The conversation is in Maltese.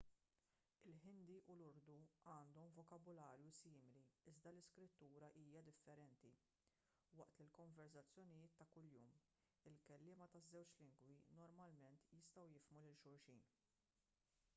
il-ħindi u l-urdu għandhom vokabularju simili iżda l-iskrittura hija differenti waqt il-konverżazzjonijiet ta' kuljum il-kelliema taż-żewġ lingwi normalment jistgħu jifhmu lil xulxin